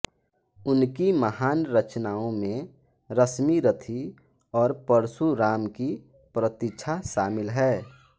उनकी महान रचनाओं में रश्मिरथी और परशुराम की प्रतीक्षा शामिल है